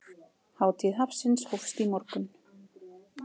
Hátíð hafsins hófst í morgun.